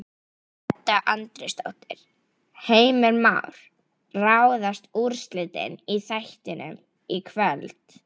Edda Andrésdóttir: Heimir Már, ráðast úrslitin í þættinum í kvöld?